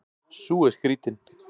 Sú er skrýtin.